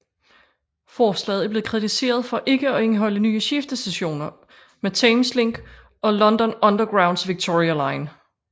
Forslaget er blevet kritiseret for ikke at indeholde nye skiftestationer med Thameslink og London Undergrounds Victoria line